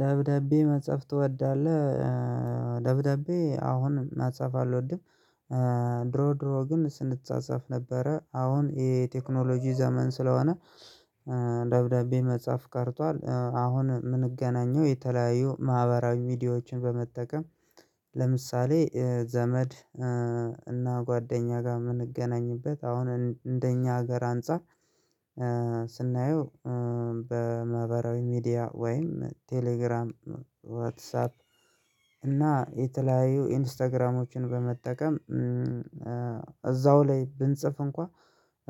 ደብዳቤ መጽሐፍ ትወዳለህ? ደብዳቤ አሁን መጽሐፍ አልወድም። ድሮ ድሮ ግን ስንጸጻፍ ነበረ አሁን የቴክኖሎጂ ዘመን ስለሆነ። ደብዳቤ መጻፍ ቀርቷል አሁን የምንገናኘው የተለያዩ ማህበራዊ ሚዲያዎችን በመጠቀም። ለምሳሌ ዘመድ እና ጓደኛ ጋር የምንገናኝበት አሁን እንደኛ ሀገር አንፃር። ስናየው በማህበራዊ ሚዲያ ወይም ቴሌግራም ዋትሳፕ እና የተለያዩ ኢንስታግራሞችን በመጠቀም እዛው ላይ ብንጽፍ እንኳን